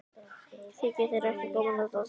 Þykir þér ekki gaman að dansa?